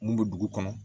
Mun bɛ dugu kɔnɔ